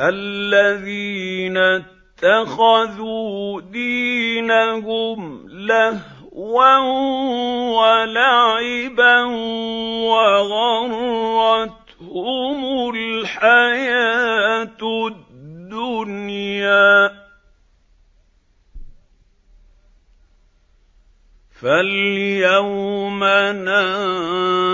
الَّذِينَ اتَّخَذُوا دِينَهُمْ لَهْوًا وَلَعِبًا وَغَرَّتْهُمُ الْحَيَاةُ الدُّنْيَا ۚ فَالْيَوْمَ